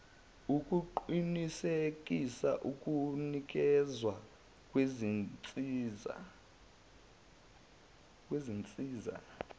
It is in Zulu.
ukuqinisekisa ukunikezwa kwezinsiza